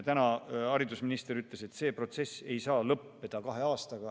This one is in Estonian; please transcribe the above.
Täna ütles haridusminister, et see protsess ei saa lõppeda kahe aastaga.